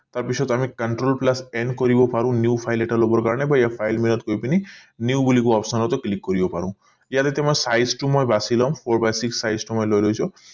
তাৰ পিছত আমি control plus m কৰিব পাৰো new file এটা লবৰ কাৰণে বা ইয়াত file menu ট গৈ পিনি new বুলি কোৱা option টো click কৰি পাৰো ইয়াত এতিয়া মই size টো মই বাছি লও four by six size টো মই লৈ লৈছো